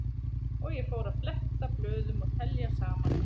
Og ég fór að fletta blöðum og telja saman.